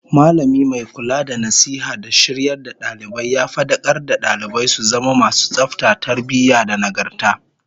Mallami mai kula da nasiha da shiryar da dalibai ya fadakar da dalibai su zama masu tsafta, tarbiyyah da nagarta